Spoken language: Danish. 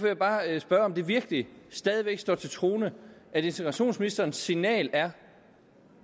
jeg bare spørge om det virkelig stadig væk står til troende at integrationsministerens signal er